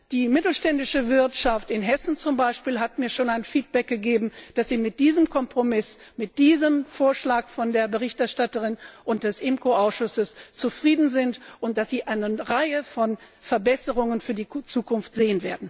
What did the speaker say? Die mittelständische Wirtschaft in Hessen zum Beispiel hat mir schon ein Feedback gegeben und erklärt, dass sie mit diesem Kompromiss, mit diesem Vorschlag der Berichterstatterin und des IMCO Ausschusses zufrieden ist und dass sie eine Reihe von Verbesserungen für die Zukunft sieht.